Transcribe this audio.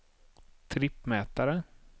trippmätare